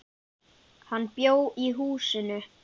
Hann bjó í húsinu.